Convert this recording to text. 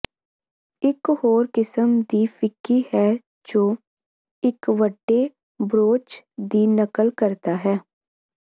ਇਕ ਹੋਰ ਕਿਸਮ ਦੀ ਫਿੱਕੀ ਹੈ ਜੋ ਇਕ ਵੱਡੇ ਬ੍ਰੌਚ ਦੀ ਨਕਲ ਕਰਦਾ ਹੈ